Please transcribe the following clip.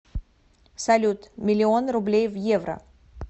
салют миллион рублей в евро